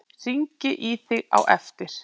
Hringi í þig á eftir.